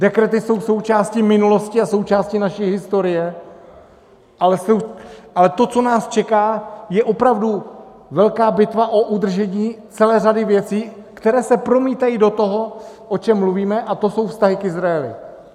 Dekrety jsou součástí minulosti a součástí naší historie, ale to, co nás čeká, je opravdu velká bitva o udržení celé řady věcí, které se promítají do toho, o čem mluvíme, a to jsou vztahy k Izraeli.